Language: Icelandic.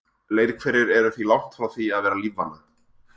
Leirhverir eru því langt frá því að vera lífvana.